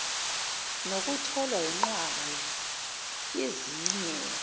nokutholwa yinqwaba yezinye